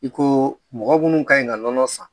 I ko mɔgɔ minnu ka ɲi ka nɔnɔ san